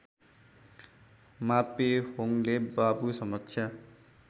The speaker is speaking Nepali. मापेहोङले बाबु समक्ष